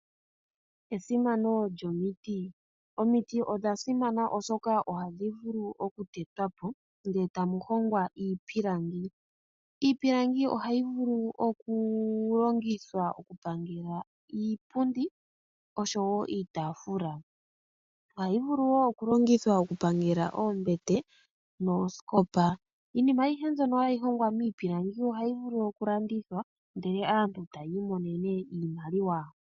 Esimano lyomiti, omiti odha simana oshoka ohadhi vulu oku tetwa po ndele tamu hongwa iipilangi. Iipilangi ohayi vulu oku longitha oku pangela iipundi oshowo iitaafula. Ohayi vulu wo oku longithwa oku pangela oombete noosikopa. Iinima ayihe mbyono hayi longwa miipilangi ohayi vulu oku landandithwa ndele aantu tayi imonene iimaliwa.